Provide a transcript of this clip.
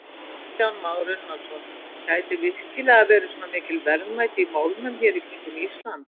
Kristján Már Unnarsson: Gætu virkilega verið svona mikil verðmæti í málmum hér í kringum Ísland?